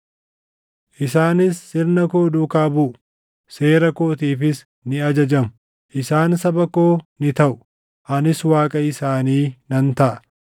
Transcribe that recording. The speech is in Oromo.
Isaanis sirna koo duukaa buʼu; seera kootiifis ni ajajamu. Isaan saba koo ni taʼu; anis Waaqa isaanii nan taʼa.